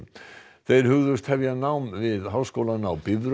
þeir hugðust hefja nám við Háskólann á Bifröst